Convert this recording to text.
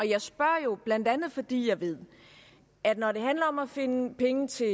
jeg spørger jo blandt andet fordi jeg ved at når det handler om at finde penge til